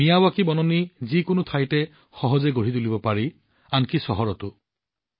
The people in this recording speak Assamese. মিয়াৱাকি বনাঞ্চল যিকোনো ঠাইতে সহজে বনাব পাৰি আনকি চহৰতো